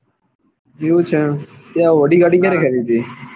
એવું છે? એમ તે audi ગાડી ક્યારે ખરીદી?